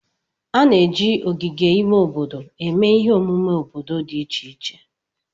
A na-eji ogige ime obodo eme ihe omume obodo dị iche iche